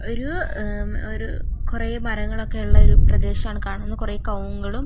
ഒരു ഉഹ് ഒരു കൊറേ മരങ്ങളൊക്കെ ഉള്ള ഒരു പ്രദേശമാണ് കാണുന്നത് കൊറേ കവുങ്ങുകളും --